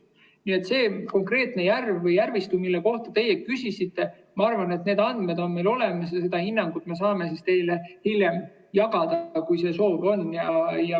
Nii et selle konkreetse järve või järvistu kohta, mille kohta teie küsisite, ma arvan, andmed on meil olemas ja seda hinnangut me saame teiega hiljem jagada, kui see soov on.